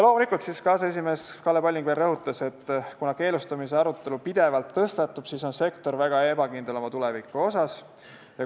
Loomulikult rõhutas aseesimees Kalle Palling, et kuna keelustamise arutelu pidevalt tõstatub, siis on sektor väga ebakindel selles, milline on tema tulevik.